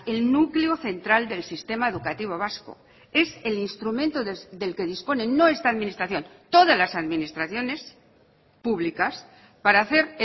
el núcleo central del sistema educativo vasco es el instrumento del que disponen no esta administración todas las administraciones públicas para hacer